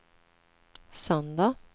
söndag